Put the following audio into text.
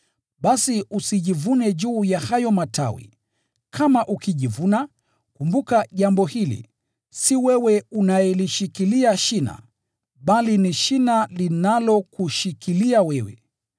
basi usijivune juu ya hayo matawi. Kama ukijivuna, kumbuka jambo hili: si wewe unayelishikilia shina, bali ni shina linalokushikilia wewe.